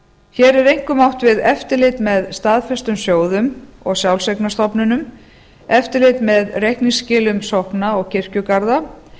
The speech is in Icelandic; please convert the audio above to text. hér er einkum átt við eftirlit með staðfestum sjóðum og sjálfseignarstofnunum eftirlit með reikningsskilum sókna og kirkjugarða